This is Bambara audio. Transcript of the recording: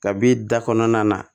Kab'i da kɔnɔna na